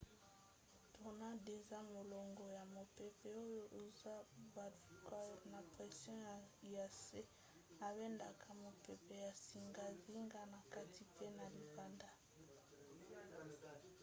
tornade eza molongo ya mopepe oyo ezobaluka na pression ya nse ebendaka mopepe ya zingazinga na kati mpe na libanda